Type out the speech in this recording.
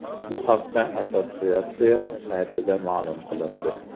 Bu haqda assotsiatsiya saytida ma’lum qilindi .